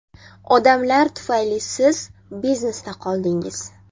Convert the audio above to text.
Odamlar tufayli siz biznesda qoldingiz.